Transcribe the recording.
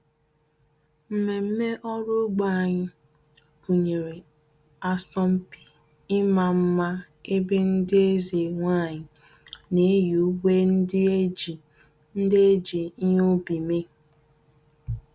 Mmemme ọrụ ugbo anyị gụnyere asọmpi ịma mma ebe ndị eze nwanyị na-eyi uwe ndị e ji ndị e ji ihe ubi mee.